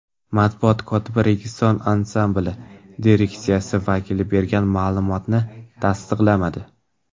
Matbuot kotibi Registon ansambli direksiyasi vakili bergan ma’lumotni tasdiqlamadi.